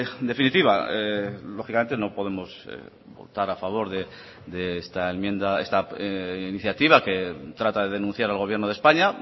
en definitiva lógicamente no podemos votar a favor de esta enmienda esta iniciativa que trata de denunciar al gobierno de españa